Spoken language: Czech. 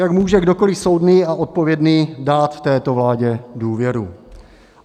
Jak může kdokoliv soudný a odpovědný dát této vládě důvěru?